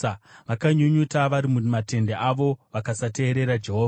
Vakanyunyuta vari mumatende avo vakasateerera Jehovha.